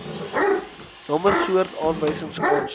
nommer soort aanwysingsaansoek